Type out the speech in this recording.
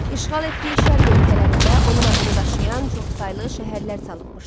İşğal etdiyi şərq ölkələrində onun adını daşıyan çoxsaylı şəhərlər salınmışdı.